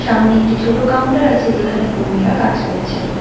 সামনে একটি ছোট কাউন্টার আছে যেখানে কর্মীরা কাজ করছেন।